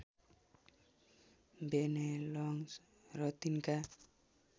Bennelong र तिनका